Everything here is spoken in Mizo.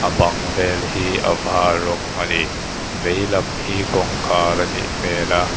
bang vel hi a var rawng ani veilam hi kawngkhar a nih hmel a.